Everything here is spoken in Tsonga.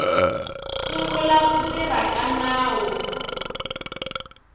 sungula ku tirha ka nawu